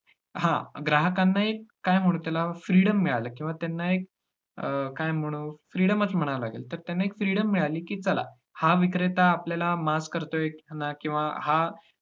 हा ग्राहकांना एक, काय म्हणु त्याला freedom मिळाली, किंवा त्यांना एक अं काय म्हणु freedom च म्हणावं लागेल, तर त्यांना एक freedom मिळाली. की चला हा विक्रीता आता आपल्याला माफ करतोय ह्यांना किंवा हा